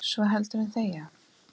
svo heldur en þegja